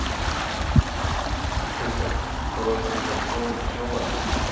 Kristján: Góðar tekjur á sjónum sem sjómaður?